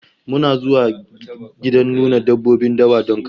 Muna zuwa gidan nuna dabbobin dawa don kallo